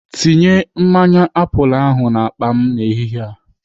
Tinye mmanya apụl ahụ n'akpa m n'ehihie a.